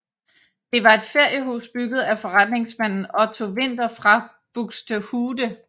Det var et feriehus bygget af forretningsmanden Otto Winter fra Buxtehude